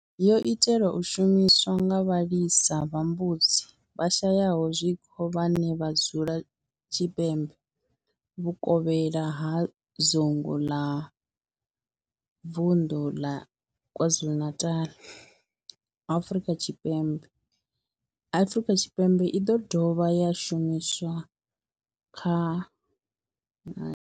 Yo itelwa u shumiswa nga vhalisa vha mbudzi vhashayaho zwiko vhane vha dzula tshipembe vhukovhela ha dzingu a vunḓu ḽa KwaZulu-Natal, Afrika Tshipembe Afrika Tshipembe i do dovha ya shumiswa kha.